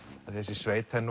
þessi sveit er